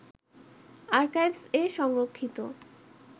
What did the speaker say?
আরকাইভস্-এ সংরক্ষিত